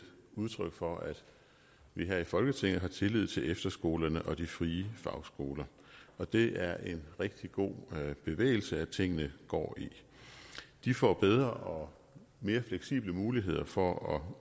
udtryk for at vi her i folketinget har tillid til efterskolerne og de frie fagskoler og det er en rigtig god bevægelse tingene går i de får bedre og mere fleksible muligheder for at